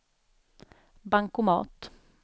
bankomat